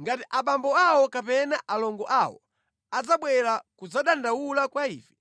Ngati abambo awo kapena alongo awo adzabwera kudzadandaula kwa ife,